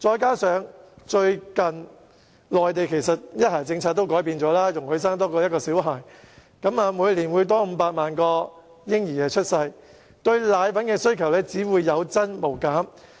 加上內地最近改變了"一孩"政策，容許市民多生育1名小孩，以致每年會有額外500萬名嬰兒出生，因此對奶粉的需求只會有增無減。